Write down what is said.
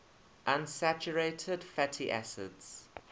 unsaturated fatty acids